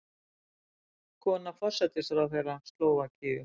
Kona forsætisráðherra Slóvakíu